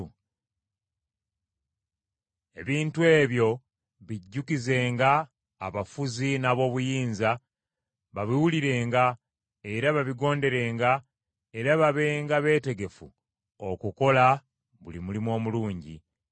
Ebintu ebyo bijjukizenga abafuzi n’ab’obuyinza, babiwulirenga, era babigonderenga, era babenga beetegefu okukola buli mulimu omulungi.